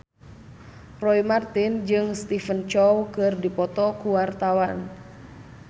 Roy Marten jeung Stephen Chow keur dipoto ku wartawan